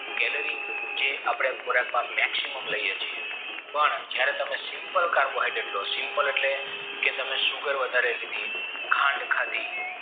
Kelary જે આપણે ખોરાકમાં maximum લઈયે છે પણ જયારે તમે simple carbohydrates લો simple એટલે કે તમે sugar વધારે લીધી ખાંડ ખાધી